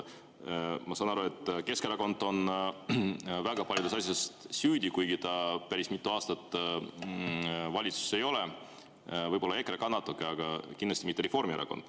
Ma saan aru, et Keskerakond on väga paljudes asjades süüdi, kuigi ta ei ole päris mitu aastat valitsuses olnud, võib-olla EKRE on ka natuke, aga kindlasti mitte Reformierakond.